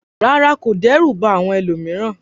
Rárá, kò dẹ́rù ba àwọn ẹlòmíràn.